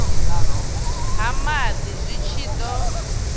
ha maḓi zwi tshi ḓo